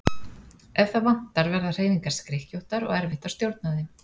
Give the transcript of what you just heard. Ef það vantar verða hreyfingar skrykkjóttar og erfitt að stjórna þeim.